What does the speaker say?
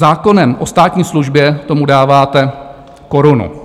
Zákonem o státní službě tomu dáváte korunu.